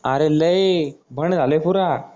अरे लय झालोय पुरा.